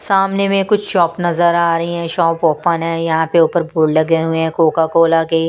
सामने में कुछ शॉप नजर आ रही हैं शॉप ओपन हैं यहाँ पे ऊपर बोर्ड लगे हुए हैं कोका कोला के।